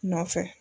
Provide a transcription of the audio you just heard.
Nɔfɛ